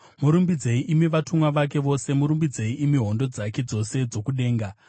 Murumbidzei, imi vatumwa vake vose, murumbidzei, imi hondo dzake dzose dzokudenga.